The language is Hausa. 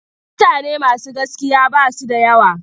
Mutane masu gaskiya ba su da yawa.